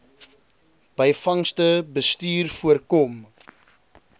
byvangste bestuur voorkom